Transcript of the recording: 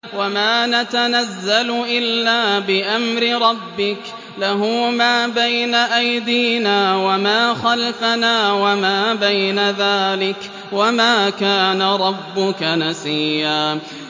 وَمَا نَتَنَزَّلُ إِلَّا بِأَمْرِ رَبِّكَ ۖ لَهُ مَا بَيْنَ أَيْدِينَا وَمَا خَلْفَنَا وَمَا بَيْنَ ذَٰلِكَ ۚ وَمَا كَانَ رَبُّكَ نَسِيًّا